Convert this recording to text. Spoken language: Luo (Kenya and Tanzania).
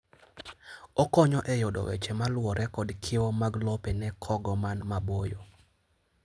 okonyo e yudo weche maluwore kod kiewo mag lope ne kogo man maboyo.